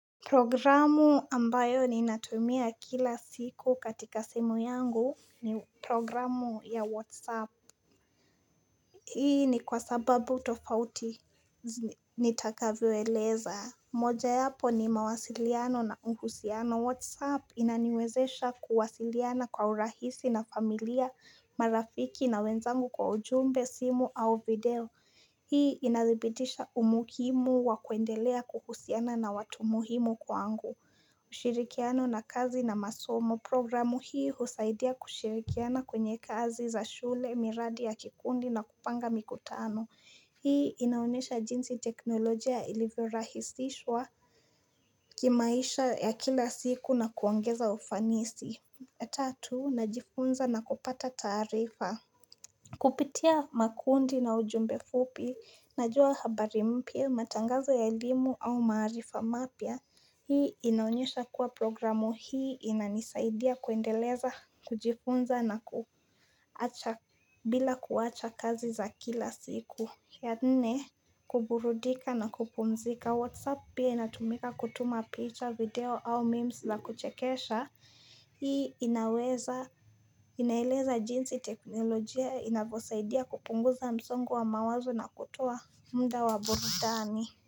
Programu ambayo ninatumia kila siku katika simu yangu ni programu ya Whatsapp Hii ni kwa sababu tofauti nitakavyoeleza moja yapo ni mawasiliano na uhusiano WhatsApp. Inaniwezesha kuwasiliana kwa urahisi na familia, marafiki na wenzangu kwa ujumbe, simu au video. Hii inathibitisha umuhimu wa kuendelea kuhusiana na watu muhimu kwangu. Ushirikiano na kazi na masomo programu hii husaidia kushirikiana kwenye kazi za shule miradi ya kikundi na kupanga mikutano Hii inaonyesha jinsi teknolojia ilivyo rahisishwa kimaisha ya kila siku na kuongeza ufanisi Tatu najifunza na kupata taarifa Kupitia makundi na ujumbe fupi, najua habari mpya, matangazo ya elimu au maarifa mapya, hii inaonyesha kuwa programu hii inanisaidia kuendeleza, kujifunza na kuacha bila kuacha kazi za kila siku. Ya nne kuburudika na kupumzika WhatsApp pia inatumika kutuma picha video au memes za kuchekesha Hii inaweza inaeleza jinsi teknolojia inavyosaidia kupunguza msongo wa mawazo na kutoa muda wa burudani.